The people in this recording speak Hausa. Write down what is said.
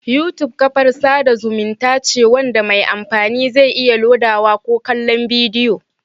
YouTube kafar sada zumunta ce wanda mai amfani zai iya lodawa ko kallon bidiyo